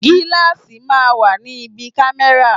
Gíláàsì máa ń wà ní ibi kámẹ́rà.